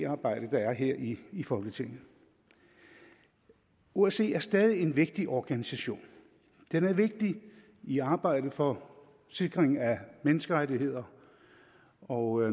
arbejdet der er her i i folketinget osce er stadig en vigtig organisation den er vigtig i arbejdet for sikring af menneskerettigheder og